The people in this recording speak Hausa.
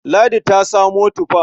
Ladi ta samo tufa.